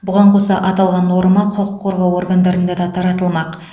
бұған қоса аталған норма құқық қорғау органдарында да таратылмақ